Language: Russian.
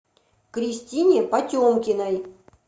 кристине потемкиной